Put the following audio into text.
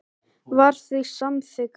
var því samþykkur.